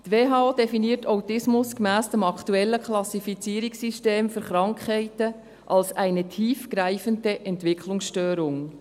Die Weltgesundheitsorganisation (WHO) definiert Autismus gemäss dem aktuellen Klassifizierungssystem für Krankheiten als «eine tiefgreifende Entwicklungsstörung».